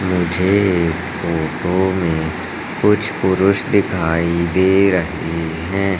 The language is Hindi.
मुझे इस फोटो में कुछ पुरुष दिखाई दे रही है।